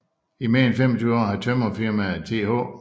I mere end 25 år havde Tømrerfirmaet Th